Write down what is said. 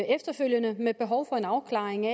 efterfølgende med behov for en afklaring